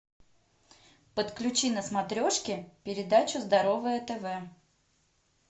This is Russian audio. подключи на смотрешке передачу здоровое тв